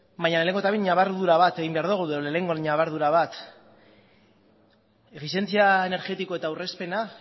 baina lehenengo eta behin ñabardura bat egin behar dugu edo lehenengo ñabardura bat efizientzia energetikoa eta aurrezpena